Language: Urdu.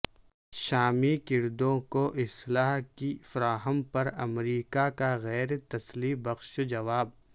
شامی کردوں کو اسلحہ کی فراہم پر امریکہ کا غیر تسلی بخش جواب